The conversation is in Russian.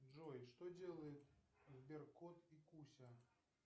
джой что делает сберкот и куся